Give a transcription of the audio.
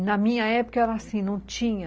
E na minha época era assim, não tinha...